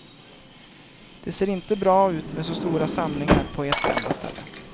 Det ser inte bra ut med så stora samlingar på ett enda ställe.